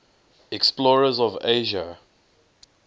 explorers of asia